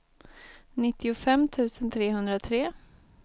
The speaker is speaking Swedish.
nittiofem tusen trehundratre